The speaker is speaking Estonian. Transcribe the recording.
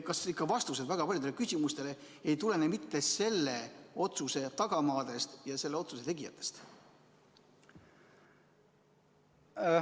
Kas vastused väga paljudele küsimustele ei tulene mitte selle otsuse tagamaadest ja selle otsuse tegijatest?